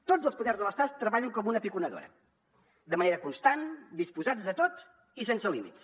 tots els poders de l’estat treballen com una piconadora de manera constant disposats a tot i sense límits